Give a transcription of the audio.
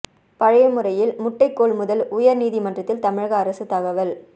பழைய முறையில் முட்டை கொள்முதல் உயர் நீதிமன்றத்தில் தமிழக அரசு தகவல்